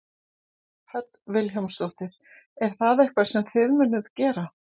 Hödd Vilhjálmsdóttir: Er það eitthvað sem að þið munuð gera?